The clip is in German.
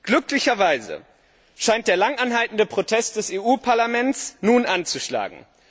Glücklicherweise scheint der lang anhaltende Protest des Europäischen Parlaments nun anzuschlagen.